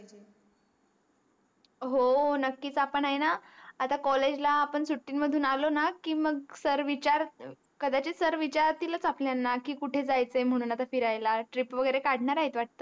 हो नक्कीच आपण अहेणा आता कॉलेज ला आपण सुट्टी मधून आलो न की मग सर कदाचित सर विचारतिलच आपल्याला की कुठे जायच आहे म्हणून फिरायला आता TRIP वागेरे कडणार आहेत वाट